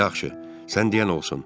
Yaxşı, sən deyən olsun.